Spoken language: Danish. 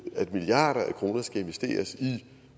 at milliarder af kroner skal investeres i